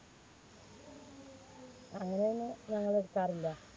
അങ്ങനെയൊന്നും ഞങ്ങൾ എടുക്കാറില്ല.